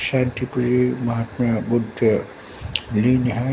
शैलपुत्री महात्मा बुद्ध लीन हैं।